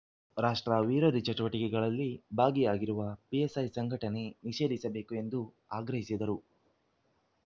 ರಾಷ್ಟ್ರ ವಿರೋಧಿ ಚಟುವಟಿಕೆಗಳಲ್ಲಿ ಭಾಗಿಯಾಗಿರುವ ಪಿಎಫ್‌ಐ ಸಂಘಟನೆ ನಿಷೇಧಿಸಬೇಕು ಎಂದು ಆಗ್ರಹಿಸಿದರು